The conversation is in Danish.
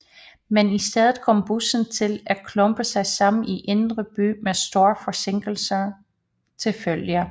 Men i stedet kom busserne til at klumpe sig sammen i Indre By med store forsinkelser til følge